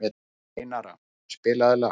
Einara, spilaðu lag.